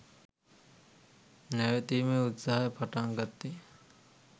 නැවතීමේ උත්සාහය පටන්ගත්තෙ